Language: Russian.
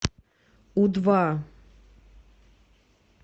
у два